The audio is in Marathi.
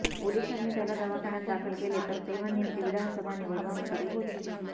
पोलिसांनी त्याला दवाखान्यात दाखल केले तर तेव्हा नेमकी विधानसभा निवडणूक सुरु होती